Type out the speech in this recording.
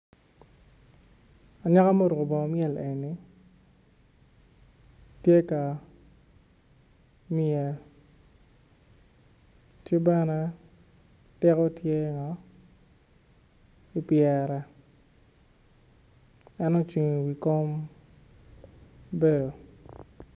Anyaka muruko bongo myel eni tye ka mye ki bene tiko tye ipyere en ocung iwi kom bene